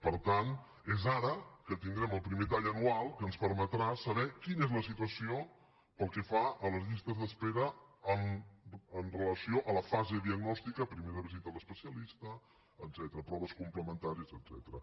per tant és ara que tindrem el primer tall anual que ens permetrà saber quina és la situació pel que fa a les llistes d’espera amb relació a la fase diagnòstica primera visita a l’especialista etcètera proves complementàries etcètera